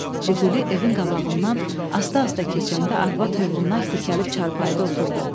Jiquli evin qabağından asta-asta keçəndə arvad hövülnaik tikəlib çarpayıda oturdu.